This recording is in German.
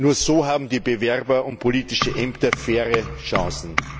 Nur so haben die Bewerber um politische Ämter faire Chancen.